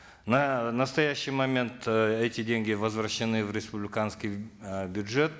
на настоящий момент эти деньги возвращены в республиканский э бюджет